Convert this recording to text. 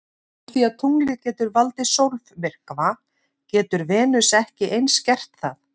Úr því að tunglið getur valdið sólmyrkva getur Venus ekki eins gert það?